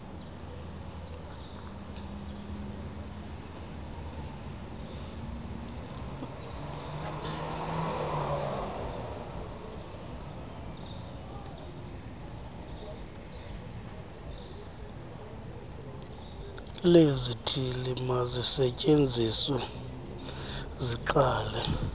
lezithili mazisetyenziswe ziqalise